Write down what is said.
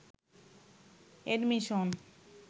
admission